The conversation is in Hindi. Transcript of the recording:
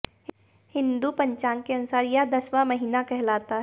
हिंदू पंचांग के अनुसार यह दसवां महीना कहलाता है